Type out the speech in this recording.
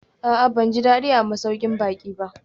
A'a, ban ji daɗi a masaukin baƙi ba